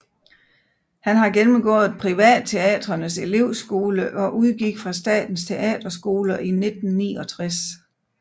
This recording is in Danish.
Han har gennemgået Privatteatrenes Elevskole og udgik fra Statens Teaterskole i 1969